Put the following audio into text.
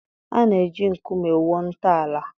A na-eji nkume wuo ntọala.